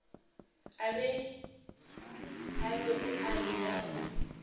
a bego a eya go